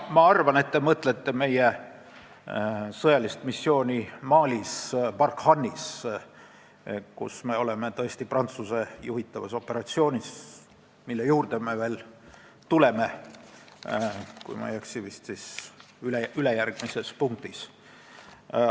Ma arvan, et te mõtlete meie sõjalist missiooni Barkhane Malis, kus me tõesti osaleme Prantsuse juhitavas operatsioonis, mille juurde me veel tuleme ülejärgmises punktis, kui ma ei eksi.